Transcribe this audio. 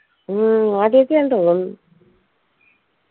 ഉം ആദ്യത്തത്തെയാന്ന് തോന്നുന്ന്